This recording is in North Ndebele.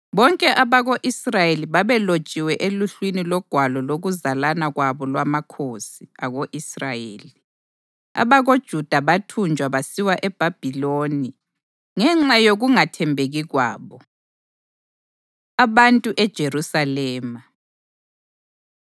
Bonke abako-Israyeli babelotshiwe eluhlwini logwalo lokuzalana kwabo lwamakhosi ako-Israyeli. AbakoJuda bathunjwa basiwa eBhabhiloni ngenxa yokungathembeki kwabo. Abantu EJerusalema